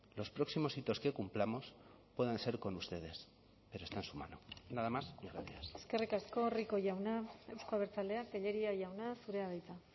los próximos hitos que cumplamos puedan ser con ustedes pero está en su mano nada más y gracias eskerrik asko rico jauna euzko abertzaleak tellería jauna zurea da hitza